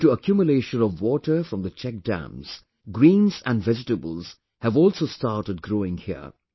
Due to accumulation of water from the check dams, greens and vegetables have also started growing here